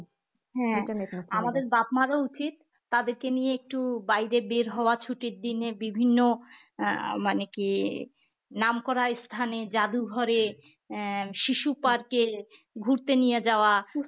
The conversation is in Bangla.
হ্যাঁ আমাদের বাপ মারও উচিত তাদেরকে নিয়ে একটু বাইরে বের হওয়া ছুটির দিনে বিভিন্ন আহ মানে কি নামকরা স্থানে জাদুঘরে আহ শিশু park এ ঘুরতে নিয়ে যাওয়া।